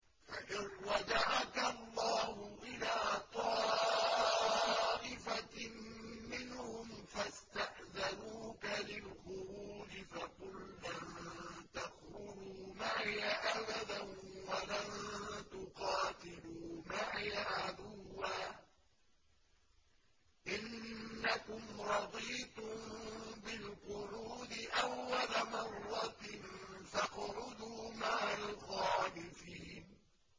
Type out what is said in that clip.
فَإِن رَّجَعَكَ اللَّهُ إِلَىٰ طَائِفَةٍ مِّنْهُمْ فَاسْتَأْذَنُوكَ لِلْخُرُوجِ فَقُل لَّن تَخْرُجُوا مَعِيَ أَبَدًا وَلَن تُقَاتِلُوا مَعِيَ عَدُوًّا ۖ إِنَّكُمْ رَضِيتُم بِالْقُعُودِ أَوَّلَ مَرَّةٍ فَاقْعُدُوا مَعَ الْخَالِفِينَ